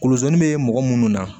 Koloziri bɛ mɔgɔ munnu na